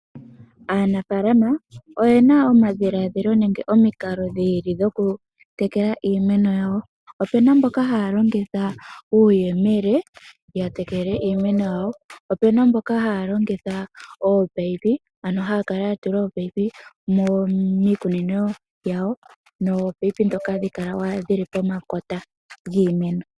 Aanafaalama oyena omadhiladhilo nenge omikalo dhi ili dhoku tekela iimeno yawo. Opuna mboka haya longitha uuyemele ya tekele iimeno yawo po opuna mboka haya longitha ominino dhomeya, ano haya kala ya tula ominino dhomeya miikunino yawo hadhi kala dhili pomakota giimeno.